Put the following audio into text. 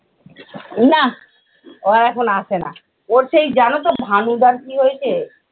না ও আর এখন আসে না। ওর সেই জানতো ভানুদার কি হয়েছে?